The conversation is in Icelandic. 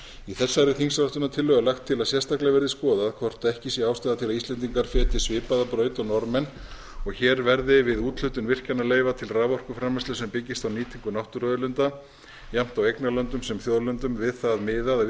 í þessari þingsályktunartillögu er lagt til að sérstaklega verði skoðað hvort ekki sé ástæða til að íslendingar feti svipaða braut og norðmenn og hér verði við úthlutun virkjanaleyfa til raforkuframleiðslu sem byggist á nýtingu náttúruauðlinda jafnt á eignarlöndum sem þjóðlendum við það miðað